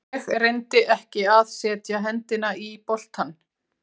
Ég reyndi ekki að setja hendina í boltann.